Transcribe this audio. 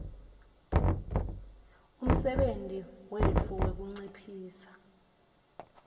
umsebenti wetfu wekunciphisa